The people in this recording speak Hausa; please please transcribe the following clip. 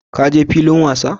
Ka je filin wasa?.